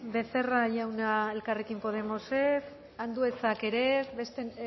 becerra jauna elkarrekin podemosek ez anduezak ere ez